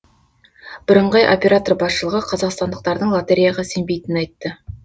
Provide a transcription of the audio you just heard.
бірыңғай оператор басшылығы қазақстандықтардың лотереяға сенбейтінін айтты